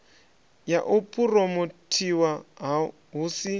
ya u phuromothiwa hu si